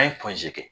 An ye kɛ